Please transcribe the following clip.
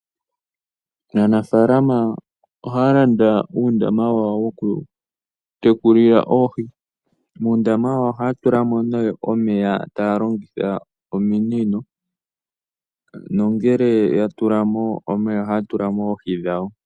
Aanafaalama ohaya landa uundama wawo woku tekulila oohi. Muundama ohaya tulamo nee omeya taya longitha ominino nongele ya tulamo omeya, ohaya tulamo oohi dhawo.